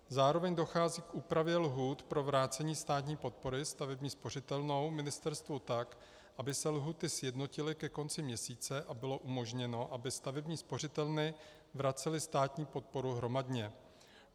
Zároveň dochází k úpravě lhůt pro vrácení státní podpory stavební spořitelnou ministerstvu tak, aby se lhůty sjednotily ke konci měsíce a bylo umožněno, aby stavební spořitelny vracely státní podporu hromadně.